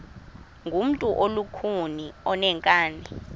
ngumntu olukhuni oneenkani